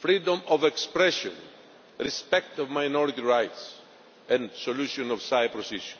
freedom of expression, respect for minority rights, and resolution of the Cyprus issue.